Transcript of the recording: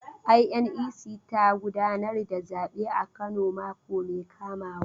INEC za ta gudanar da zabe a Kano mako mai kamawa.